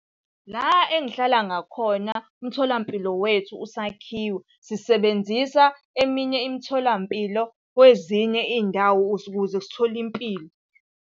La engihlala ngakhona, umtholampilo wethu usakhiwa sisebenzisa eminye imitholampilo kwezinye iy'ndawo ukuze sithole impilo.